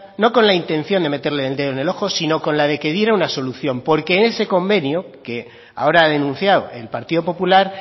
no con la intención de meterle el dedo en el ojo sino con la que diera una solución porque en ese convenio que ahora ha denunciado el partido popular